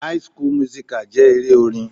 High school musical jẹ́ eré orin.